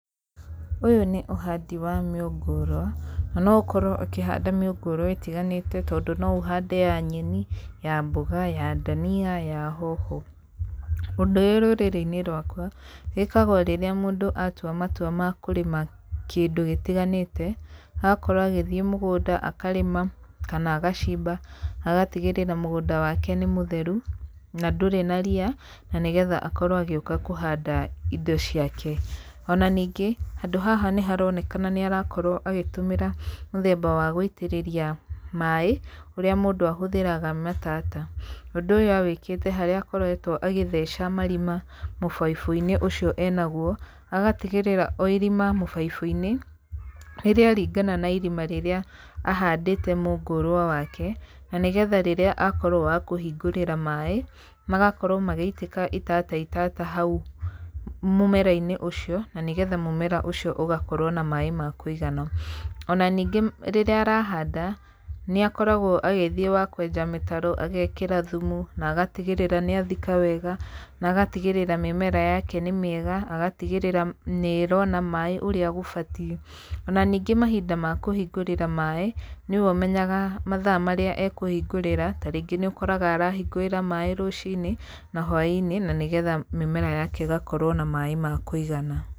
Ũyũ nĩ ũhandi wa mĩũngũrwa, na no ũkorwo ũkĩhanda mĩũngũrwa ĩtiganĩte tondũ no ũhande ya nyeni, ya mboga, ya ndania, ya hoho. Ũndũ ũyũ rũrĩrĩ-inĩ rwakwa, wĩkagwo rĩrĩa mũndũ atua matua ma kũrĩma kĩndũ gĩtiganĩte, agakorwo agĩthiĩ mũgũnda akarĩma, kana agacimba, agatigĩrĩra mũgũnda wake nĩ mũtheru, na ndũrĩ na ria na nĩgetha akorwo agĩũka kũhanda indo ciake. Ona ningĩ, handũ haha nĩ haronekana nĩ arakorwo agĩtũmĩra mũthemba wa gũitĩrĩria maĩ, ũrĩa mũndũ ahũthĩraga matata. Ũndũ awĩkĩte harĩa akoretwo agĩtheca marima mũbaibũ-inĩ ũcio enaguo, agatigĩrĩra o irima mũbaibũ-inĩ nĩ rĩa ringana na ahandĩte mũngũrwa wake, na nĩgetha rĩrĩa akorwo wa kũhingũrĩra maĩ, magakorwo magĩitĩka itata itata hau mũmera-inĩ ũcio, na nĩgetha mũmera ũcio ũgakorwo na maĩ ma kũigana. Ona ningĩ rĩrĩa arahanda, nĩ akoragwo agĩthiĩ wa kwenja mĩtaro, agekĩra thumu, na agatigĩrĩra nĩ athika wega, na agatigĩrĩra mĩmera yake nĩ mĩega, agatigĩrĩra nĩ ĩrona maĩ ũrĩa gũbatie, ona ningĩ mahinda makũhingũrĩra maĩ, nĩwe ũmenyaga mathaa marĩa ekũhingũrĩra, ta rĩngĩ nĩ ũkoraga arahingũrĩra maĩ rũcinĩ na hwainĩ, na nĩgetha mĩmera yake ĩgakorwo na maĩ makũigana.